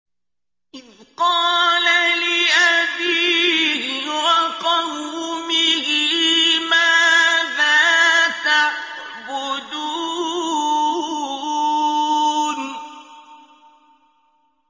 إِذْ قَالَ لِأَبِيهِ وَقَوْمِهِ مَاذَا تَعْبُدُونَ